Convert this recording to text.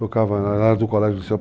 Tocava lá no colégio